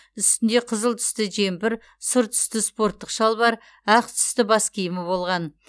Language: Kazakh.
үстінде қызыл түсті жемпір сұр түсті спорттық шалбар ақ түсті бас киімі болған